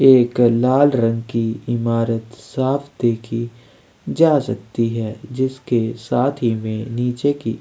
एक लाल रंग की इमारत साफ़ देखी जा सकती है जिसके साथ ही में नीचे की--